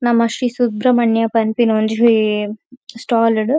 ನಮ ಶ್ರೀ ಸುಬ್ರಹ್ಮಣ್ಯ ಪನ್ಪಿನ ಒಂಜಿ ಸ್ಟಾಲ್ ಡ್.